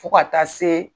Fo ka taa se